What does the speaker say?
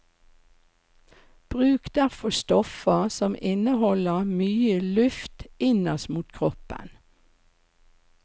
Bruk derfor stoffer som inneholder mye luft innerst mot kroppen.